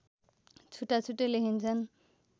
छुट्टाछुट्टै लेखिन्छन्